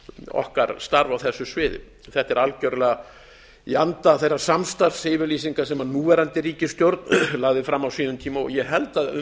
okkar starf á þessu sviði þetta er algerlega í anda þeirrar samstarfsyfirlýsingar sem núverandi ríkisstjórn lagði fram á sínum tíma og ég held að um